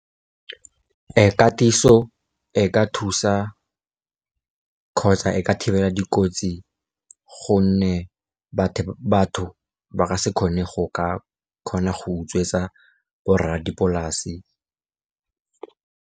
Katiso e ka thusa kgotsa e ka thibela dikotsi, gonne batho ba ka se kgone go ka kgona go utswetsa borra dipolase.